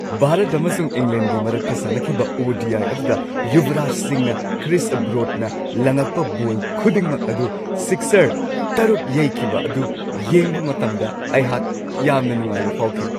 ꯚꯥꯔꯠ ꯑꯃꯁꯨꯡ ꯏꯪꯂꯦꯟꯒꯤ ꯃꯔꯛꯇ ꯁꯥꯟꯅꯈꯤꯕ ꯑꯣ.ꯗꯤ.ꯑꯥꯏ. ꯑꯗꯨꯗ ꯌꯨꯕꯔꯥꯖ ꯁꯤꯡꯅ ꯀ꯭ꯔꯤꯁ ꯕ꯭ꯔꯣꯗꯅ ꯂꯪꯉꯛꯄ ꯕꯣꯜ ꯈꯨꯗꯤꯡꯃꯛ ꯑꯗꯨ ꯁꯤꯛꯁꯔ ꯇꯔꯨꯛ ꯌꯩꯈꯤꯕ ꯑꯗꯨ ꯌꯦꯡꯕ ꯃꯇꯝꯗ ꯑꯩꯍꯥꯛ ꯌꯥꯝꯅ ꯅꯨꯡꯉꯥꯏꯕ ꯐꯥꯎꯈꯤ ꯫